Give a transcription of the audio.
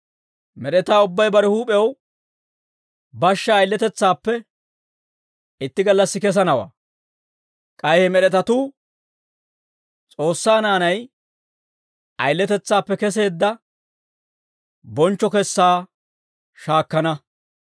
Med'etaa ubbay bare huup'ew bashshaa ayiletetsaappe itti gallassi kesanawaa; k'ay he med'etatuu S'oossaa naanay ayiletetsaappe keseedda bonchcho kessaa shaakkana.